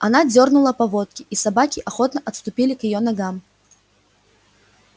она дёрнула поводки и собаки охотно отступили к её ногам